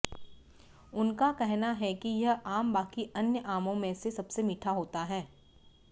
उनका कहना है कि यह आम बाकी अन्य आमों में से सबसे मीठा होता है